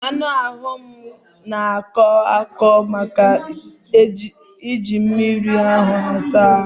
Anụ ahụ m n'akọ m ọkọ maka na e jiri mmiri ruru únyí were wụọ ahụ